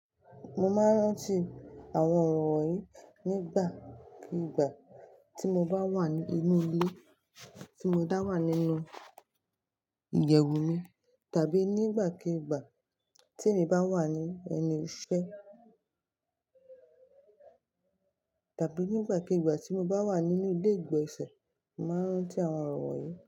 Mo máa ń rántí àwọn ọ̀rọ̀ wọ̀nyí nígbàkigbà tí mo bá wà nínú ilé, tí mo dá wà nínú iyẹ́wù mi tàbí nígbàkigbà tí èmi bá wà ní ẹnu iṣẹ́ tàbí nígbàkigbà tí mo bá wà nínú ilé ìgbọ̀nsẹ̀, màá rántí àwọn ọ̀rọ̀ wọ̀nyí.